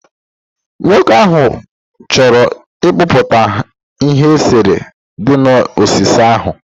Nwoke ahụ chọrọ ịkpụpụta ihe eserese dị na osisi ahụ